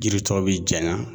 Yiri tɔ bɛ janya